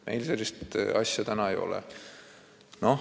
Meil sellist asja ei ole.